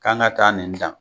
K'an ka taa nin dan